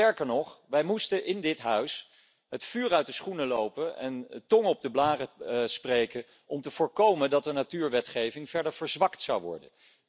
Sterker nog, wij moesten in dit Huis het vuur uit de schoenen lopen en tongen op de blaren spreken om te voorkomen dat de natuurwetgeving verder verzwakt zou worden.